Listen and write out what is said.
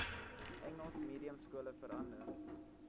engels mediumskole verander